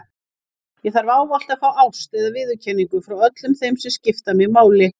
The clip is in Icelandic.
Ég þarf ávallt að fá ást eða viðurkenningu frá öllum þeim sem skipta mig máli.